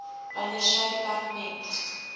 wanneer sy departement